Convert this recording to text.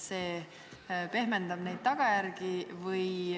See ju pehmendab arvatavaid tagajärgi.